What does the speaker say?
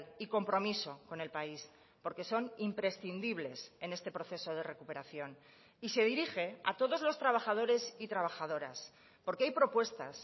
y compromiso con el país porque son imprescindibles en este proceso de recuperación y se dirige a todos los trabajadores y trabajadoras porque hay propuestas